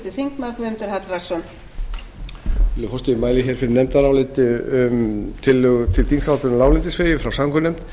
virðulegi forseti ég mæli fyrir nefndaráliti um tillögu til þingsályktunar um láglendisvegi frá samgöngunefnd nefndin